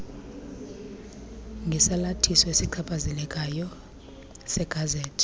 ngesalathiso esichaphazelekayo segazethi